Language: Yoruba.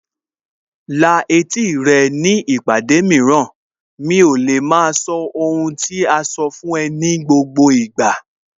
La etí rẹ ní ìpàdé mìíràn, mi ò lè maa sọ ohun tí a sọ fún ẹ ní gbogbo ìgbà